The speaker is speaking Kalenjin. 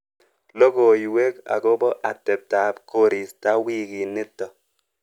Logoiwek akobo ateptap korista wikinito.